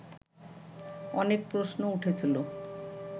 অনেক প্রশ্ন উঠেছিল